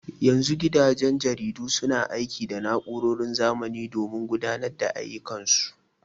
Yanzu gidajen jaridu suna aiki da na'urorin zamani domin gudanar da ayyukan su.